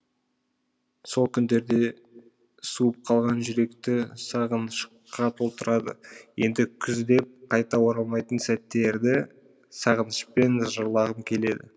сол күндерде суып қалған жүректі сағынышқа толтырады енді күз деп қайта оралмайтын сәттерді сағынышпен жырлағым келеді